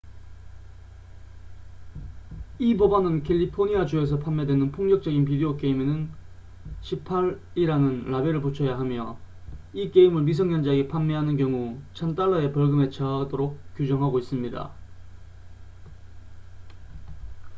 "이 법안은 캘리포니아 주에서 판매되는 폭력적인 비디오 게임에는 "18""이라는 라벨을 붙여야 하며 이 게임을 미성년자에게 판매하는 경우 1000달러의 벌금에 처하도록 규정하고 있습니다.